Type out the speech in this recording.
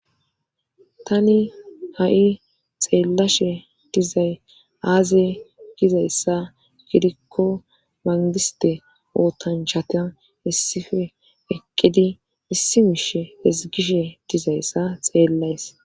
Tani ha7i xeellashe dizay aazay gizayssa girikko mangiste ootanchatian issife eqqidi issi mishe hezgishe dizayssa xeellays.